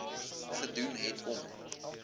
gedoen het om